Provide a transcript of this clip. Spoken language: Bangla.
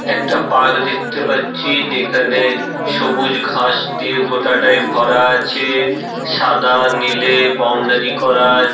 একটা পার্ক দেখতে পাচ্ছি যেখানে সবুজ ঘাস দিয়ে গোটাটাই ভরা আছে। সাদা নীলে বাউন্ডারি করা আ--